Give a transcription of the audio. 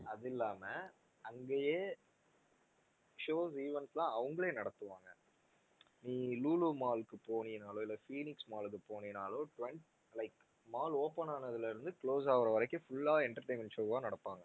அது இல்லாம அங்கேயே show events லாம் அவர்களே நடத்துவாங்க நீ லூலூ mall க்கு போனீனாலோ இல்ல ஃபீனிக்ஸ் mall க்கு போனீனாலோ like mall open ஆனதுல இருந்து close ஆகுற வரைக்கும் full ஆ entertainment show ஆ நடப்பாங்க